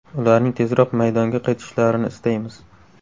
Ularning tezroq maydonga qaytishlarini istaymiz.